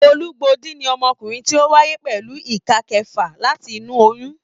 Olugbodi ní ọmọkùnrin tí o wáyé pẹlú ìká kẹfà láti inú oyún.